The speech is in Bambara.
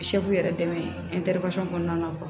yɛrɛ dɛmɛ kɔnɔna na